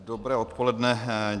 Dobré odpoledne.